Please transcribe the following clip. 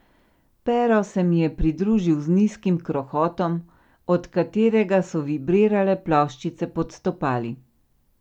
Pero se mi je pridružil z nizkim krohotom, od katerega so vibrirale ploščice pod stopali.